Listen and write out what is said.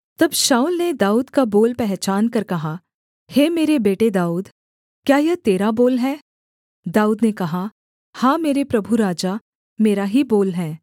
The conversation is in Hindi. तब शाऊल ने दाऊद का बोल पहचानकर कहा हे मेरे बेटे दाऊद क्या यह तेरा बोल है दाऊद ने कहा हाँ मेरे प्रभु राजा मेरा ही बोल है